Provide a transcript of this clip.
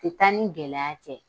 Tɛ taa ni gɛlɛya tɛ.